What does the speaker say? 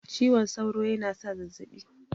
Ciwon sauro yana sa zazzabi